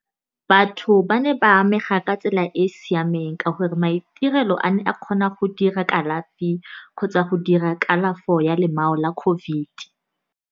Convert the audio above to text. Batho ba ne ba amega ka tsela e e siameng, ka gore maitirelo a ne a kgona go dira kalafi kgotsa go dira kalafo ya lemao la COVID.